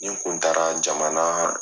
Nin kun taara jamanaa